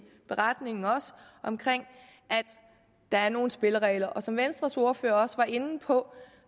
beretningen om at der er nogle spilleregler som venstres ordfører også var inde på